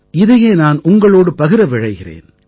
இதையே நான் உங்களோடு பகிர விழைகிறேன்